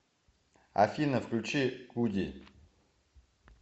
афина включи гуди